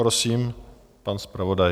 Prosím, pan zpravodaj.